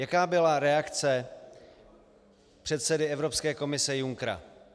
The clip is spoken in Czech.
Jaká byla reakce předsedy Evropské komise Junckera?